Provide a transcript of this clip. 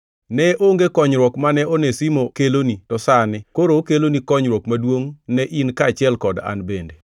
Ne onge konyruok mane Onesimo keloni to sani koro okelo konyruok maduongʼ ne in kaachiel kod an bende.